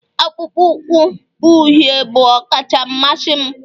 akpụkpọ ụkwụ uhie bụ ọkacha mmasị m